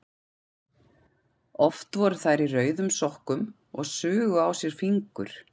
Oft voru þær í rauðum sokkum og sugu á sér fingur.